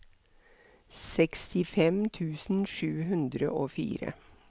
sekstifem tusen sju hundre og fire